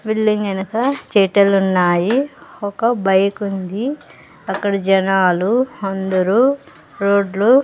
Building ఎనక చెటలున్నాయి ఒక బైకుంది అక్కడ జనాలు అందరూ రోడ్లు .